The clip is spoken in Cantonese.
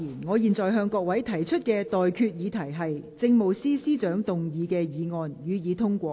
我現在向各位提出的待決議題是：政務司司長動議的議案，予以通過。